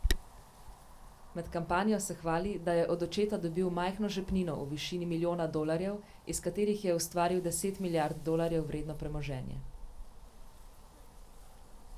Med kampanjo se hvali, da je od očeta dobil majhno žepnino v višini milijona dolarjev, iz katerih je ustvaril deset milijard dolarjev vredno premoženje.